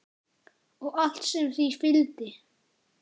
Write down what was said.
Og allt sem því fylgdi.